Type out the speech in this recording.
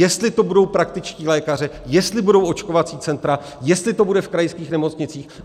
Jestli to budou praktičtí lékaři, jestli budou očkovací centra, jestli to bude v krajských nemocnicích.